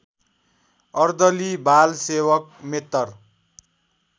अर्दली बालसेवक मेत्तर